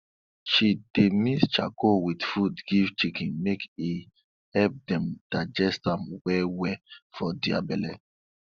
she dey mix charcoal with food give chicken make e help dem digest am well well for their belle